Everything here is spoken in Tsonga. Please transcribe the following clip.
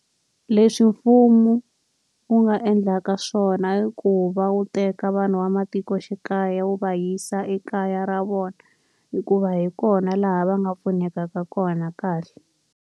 Leswi mfumo wu nga endlaka swona i ku va wu teka vanhu va matikoxikaya wu va yisa ekaya ra vona. Hikuva hi kona laha va nga pfunekaka kona kahle